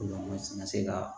se ka